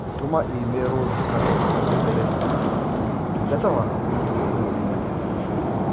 tũma i-mīrū nduka ndũmĩrĩri atĩ ũtungata wao ti mũkĩnyaniru